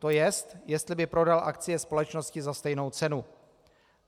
To jest, jestli by prodal akcie společnosti za stejnou cenu.